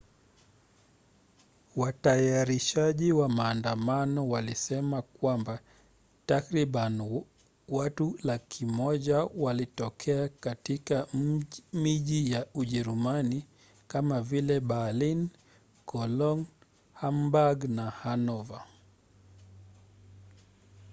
watayarishaji wa maandamano walisema kwamba takribani watu 100,000 walitokea katika miji ya ujerumani kama vile berlin cologne hamburg na hanover